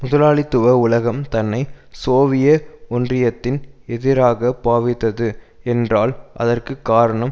முதலாளித்துவ உலகம் தன்னை சோவிய ஒன்றியத்தின் எதிராக பாவித்தது என்றால் அதற்கு காரணம்